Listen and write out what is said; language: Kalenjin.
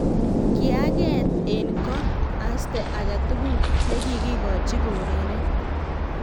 Kiyaangeh en ko.asta aketukul nekikikochi koureren